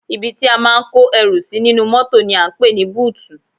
Ibi tí a máa ń kó ẹrù sí nínú mọ́tò ni à ń pè ní búùtù